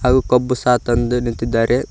ಹಾಗು ಕಬ್ಬು ಸಹ ತಂದು ನಿಂತಿದ್ದಾರೆ.